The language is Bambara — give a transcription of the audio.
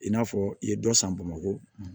I n'a fɔ i ye dɔ san bamakɔ